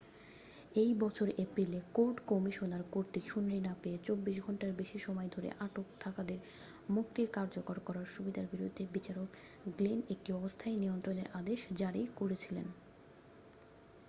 এই বছরের এপ্রিলে কোর্ট কমিশনার কর্তৃক শুনানি না পেয়ে 24 ঘণ্টারও বেশি সময় ধরে আটক থাকাদের মুক্তি কার্যকর করার সুবিধার বিরুদ্ধে বিচারক গ্লেন একটি অস্থায়ী নিয়ন্ত্রণের আদেশ জারি করেছিলেন